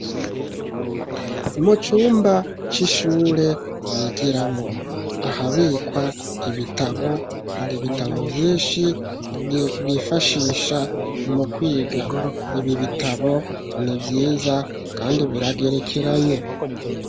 Mu cumba c'ishure, bigiramwo, ahabikwa ibitabo, hari bitabo vyinshi, bifashisha mu kwiga; ibi bitabo ni vyiza, kandi biragerekeranye.